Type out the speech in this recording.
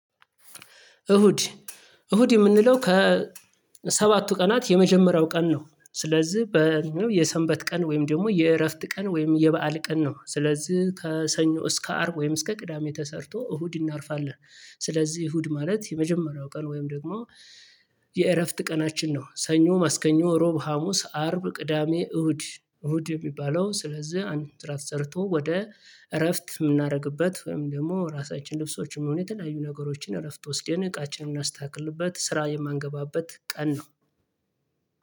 እሁድ እሁድ የምንለው ከሰባቱ ቀናት የመጀመሪያው ቀን ነው። ስለዚህ የሰንበት ቀን ወይም ደግሞ የእረፍት ቀን ወይም የበአል ቀን ነው። ስለዚህ ከሰኞ እስከ አርብ ወይም እስከ ቅዳሜ ተሰርቶ እሁድ እናርፋለን። ስለዚህ እሁድ ማለት የመጀመሪያው ቀን ወይም ደግሞ የእረፍት ቀናችን ነው። ሰኞ ማስከኞ ሮብ ሀሙስ አርብ ቅዳሜ እሁድ እሁድ የሚባለው ስለዚህ አንድ ስራ ተሰርቶ ወደ እረፍት የምናደርግበት ወይም ደግሞ ራሳችን ልብሶችም የሆኑ የተለያዩ ነገሮችን እረፍት ወስደን እቃችንን እምናስተካክልበት ስራ የማንገባበት ቀን ነው።